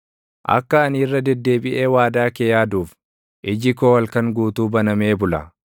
Akka ani irra deddeebiʼee waadaa kee yaaduuf, iji koo halkan guutuu banamee bula.